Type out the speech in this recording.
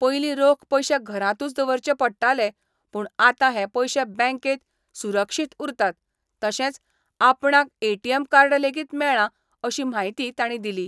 पयलीं रोख पयशे घरातूंच दवरचे पडटाले पूण आतां हे पयशे बँकेत सुरक्षीत उरतात तशेंच आपणाक एटीएम कार्ड लेगीत मेळ्ळा अशी म्हायती तांणी दिली.